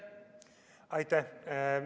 Aitäh!